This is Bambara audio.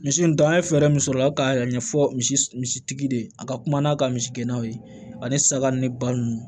Misi nun dan an ye fɛɛrɛ min sɔrɔ ala ka yɛrɛ ɲɛfɔ misi misi tigi de ye a ka kuma n'a ka misi gɛnnaw ye ani saga ni ba nunnu